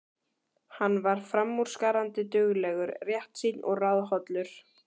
Hann var framúrskarandi duglegur, réttsýnn og ráðhollur.